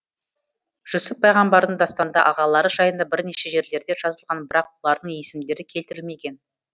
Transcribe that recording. жүсіп пайғамбардың дастанда ағалары жайында бірнеше жерлерде жазылған бірақ олардың есімдері келтірілмеген